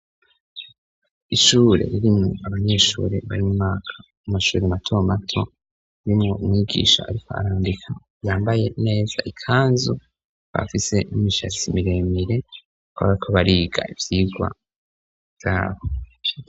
ishure ririmwo abanyeshuri barimwaka u mashuri matomato yo mu mwigisha ariko arambika yambaye neza ikanzu bafise n'imishatsi miremire aga ko bariga ibyigwa byabo